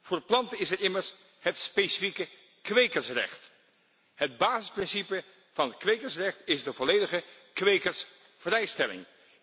voor planten is er immers het specifieke kwekersrecht. Het basisprincipe van het kwekersrecht is de volledige kwekersvrijstelling.